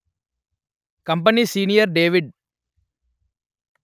company senior David